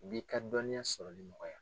O b'i ka dɔnniya sɔrɔli nɔgɔya.